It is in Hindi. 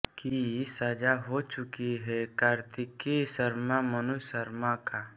की सजा हो चुकी है कार्तिकेय शर्मा मनु शर्मा का